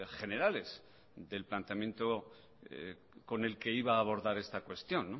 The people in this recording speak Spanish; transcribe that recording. generales del planteamiento con el que iba a abordar esta cuestión